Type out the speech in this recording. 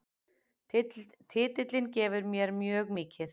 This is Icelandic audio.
Titillinn gefur mér mjög mikið